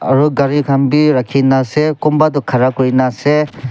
aro gari khan bi rakhi na ase kunba toh khara kuri na ase.